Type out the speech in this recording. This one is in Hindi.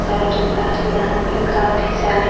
सेल रखा है यहां पे काफी सारे।